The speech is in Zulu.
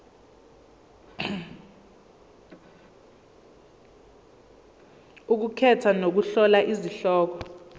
ukukhetha nokuhlola izihloko